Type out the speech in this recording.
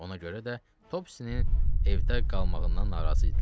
Ona görə də Topsisinin evdə qalmağından narazı idilər.